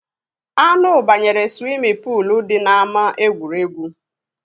Anụ banyere swimi poolu dị na ama egwuregwu